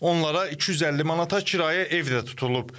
Onlara 250 manata kirayə ev də tutulub.